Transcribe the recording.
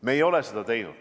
Meie ei ole seda teinud.